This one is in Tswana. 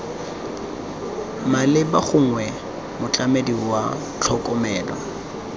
maleba gongwe motlamedi wa tlhokomelo